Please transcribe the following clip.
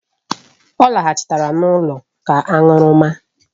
Ọ lọghachiri n'ụlọ ka aṅụrụma.